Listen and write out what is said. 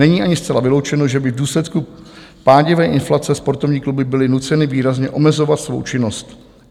Není ani zcela vyloučeno, že by v důsledku pádivé inflace sportovní kluby byly nuceny výrazně omezovat svou činnost.